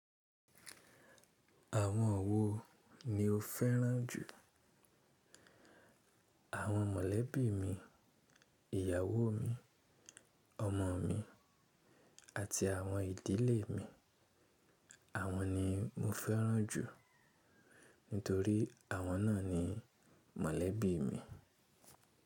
Àwọn wo ni o fẹ́ràn jù? Àwọn mọ̀lẹ́bí mi, ìyàwó mi, ọmọ mi àti àwọn ìdílé mi. Àwọn ni mo fẹ́ràn jù nítorí àwọn náà ni mọ̀lẹ́bí mi.